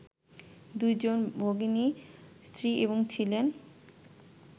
দুইজন ভগিনী স্ত্রী এবং ছিলেন